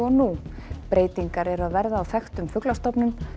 og nú breytingar eru að verða á þekktum fuglastofnum